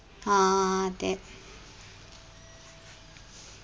ആ അതെ